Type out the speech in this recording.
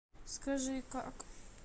скажи как